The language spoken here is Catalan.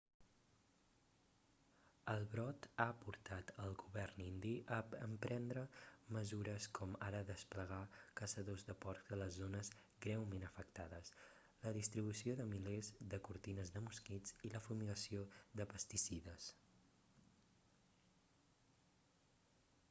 el brot ha portat el govern indi a emprendre mesures com ara desplegar caçadors de porcs a les zones greument afectades la distribució de milers de cortines de mosquits i la fumigació de pesticides